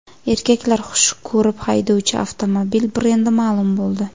Erkaklar xush ko‘rib haydovchi avtomobil brendi ma’lum bo‘ldi.